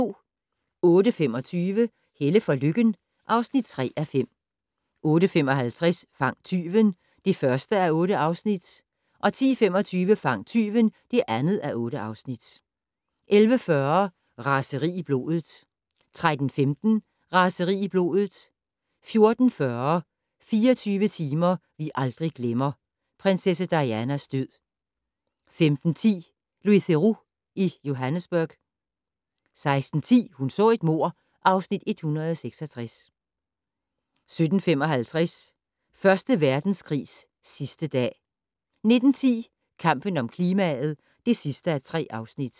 08:25: Helle for Lykken (3:5) 08:55: Fang tyven (1:8) 10:25: Fang tyven (2:8) 11:40: Raseri i blodet 13:15: Raseri i blodet 14:40: 24 timer vi aldrig glemmer - prinsesse Dianas død 15:10: Louis Theroux i Johannesburg 16:10: Hun så et mord (Afs. 166) 17:55: Første Verdenskrigs sidste dag 19:10: Kampen om klimaet (3:3)